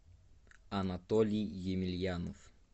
анатолий емельянов